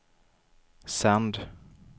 sänd